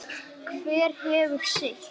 Hver hefur sitt.